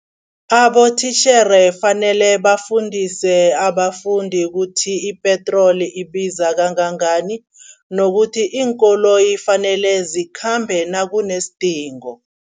Abotitjhere fanele bafundise abafundi kuthi ipetroli ibiza kangangani nokuthi iinkoloyi fanele zikhambe nakunesidingo.